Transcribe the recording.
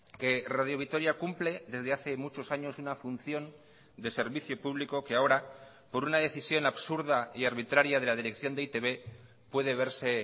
que radio vitoria cumple desde hace muchos años una función de servicio público que ahora por una decisión absurda y arbitraria de la dirección de e i te be puede verse